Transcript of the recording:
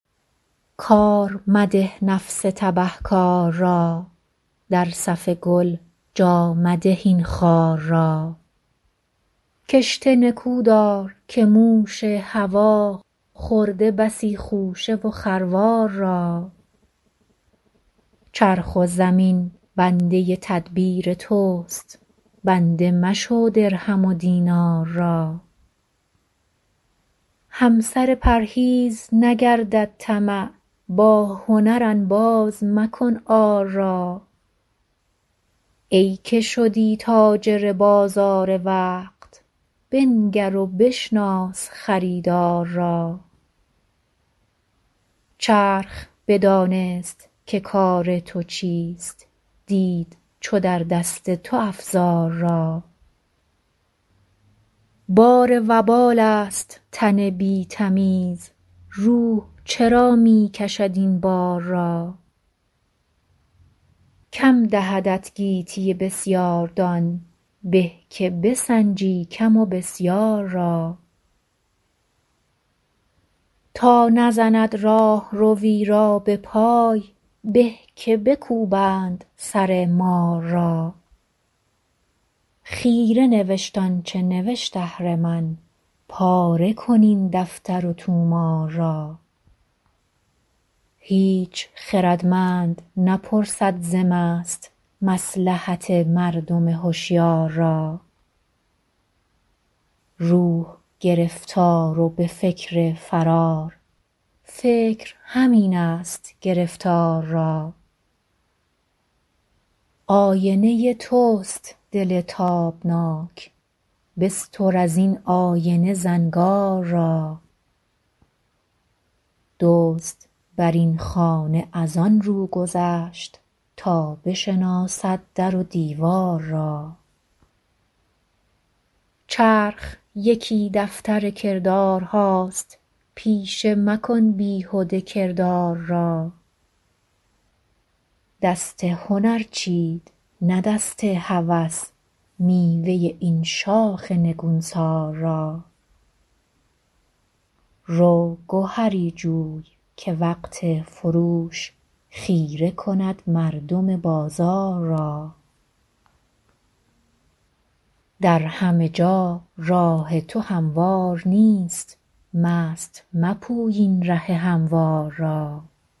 کار مده نفس تبه کار را در صف گل جا مده این خار را کشته نکودار که موش هوی خورده بسی خوشه و خروار را چرخ و زمین بنده تدبیر تست بنده مشو درهم و دینار را همسر پرهیز نگردد طمع با هنر انباز مکن عار را ای که شدی تاجر بازار وقت بنگر و بشناس خریدار را چرخ بدانست که کار تو چیست دید چو در دست تو افزار را بار وبال است تن بی تمیز روح چرا می کشد این بار را کم دهدت گیتی بسیاردان به که بسنجی کم و بسیار را تا نزند راهروی را بپای به که بکوبند سر مار را خیره نوشت آنچه نوشت اهرمن پاره کن این دفتر و طومار را هیچ خردمند نپرسد ز مست مصلحت مردم هشیار را روح گرفتار و بفکر فرار فکر همین است گرفتار را آینه تست دل تابناک بستر از این آینه زنگار را دزد بر این خانه از آنرو گذشت تا بشناسد در و دیوار را چرخ یکی دفتر کردارهاست پیشه مکن بیهده کردار را دست هنر چید نه دست هوس میوه این شاخ نگونسار را رو گهری جوی که وقت فروش خیره کند مردم بازار را در همه جا راه تو هموار نیست مست مپوی این ره هموار را